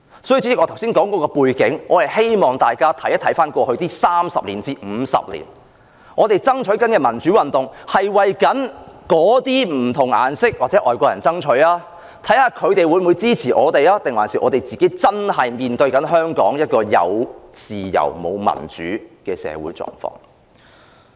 主席，我剛才論述有關背景，是希望大家回顧過去30至50年的歷史，我們推動民主運動，究竟是為那些不同"顏色"或外國人爭取民主，看看他們會否支持我們，還是反映我們自己真正面對香港"有自由，沒有民主"的社會狀況？